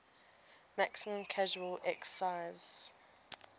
maximum casual excise